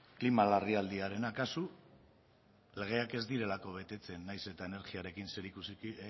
klima larrialdiarena kasu legeak ez direlako betetzen nahiz eta energiarekin